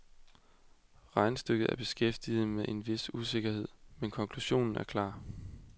Regnestykket er behæftet med en vis usikkerhed, men konklusionen er klar.